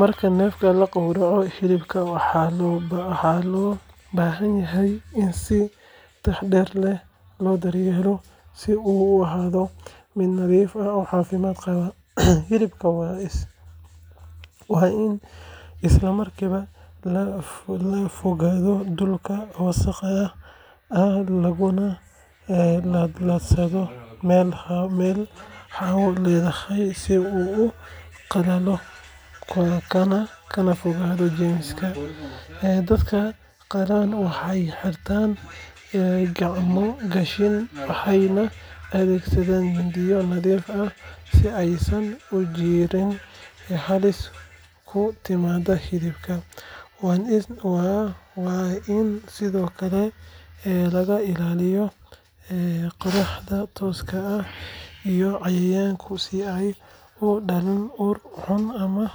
Marka neefka la gowraco, hilibka waxaa loo baahan yahay in si taxaddar leh loo daryeelo si uu u ahaado mid nadiif ah oo caafimaad qaba. Hilibka waa in isla markiiba laga fogaado dhulka wasakhda ah laguna laadlaadsadaa meel hawo leedahay si uu u qalalo kana fogaado jeermis. Dadka qalaa waxay xiraan gacmo gashi, waxayna adeegsadaan mindiyo nadiif ah si aysan u jirin halis ku timaadda hilibka. Waa in sidoo kale laga ilaaliyaa qorraxda tooska ah iyo cayayaanka si aanay u dhalin ur xun ama